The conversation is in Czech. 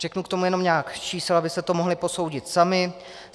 Řeknu k tomu jenom několik čísel, abyste to mohli posoudit sami.